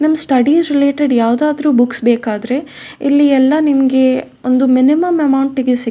ನಮ್ studies related ಯಾವ್ದಾದ್ರು books ಬೇಕಾದ್ರೆ ಇಲ್ಲಿ ಎಲ್ಲ ನಿಮ್ಗೆ ಒಂದು ಮಿನಿಮಮ್ ಅಮೌಂಟ್ ಗೆ ಸಿಗ್ --